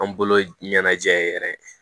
An bolo ɲɛnajɛ yɛrɛ